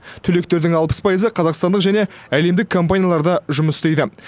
түлектердің алпыс пайызы қазақстандық және әлемдік компанияларда жұмыс істейді